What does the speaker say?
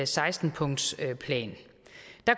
seksten punktsplan